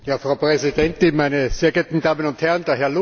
Frau Präsidentin, meine sehr geehrten Damen und Herren!